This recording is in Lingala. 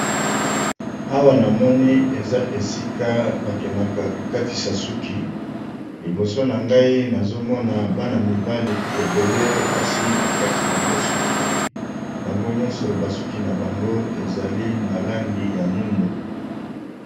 awa na moni eza esika bakendaka kokatisa suki liboso na ngai nazomona bana mibali ebele basi bakati bango suki bango nyonso basuki na bango ezali na langi ya mwindo